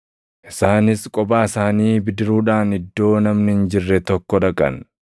Isaanis kophaa isaanii bidiruudhaan iddoo namni hin jirre tokko dhaqan.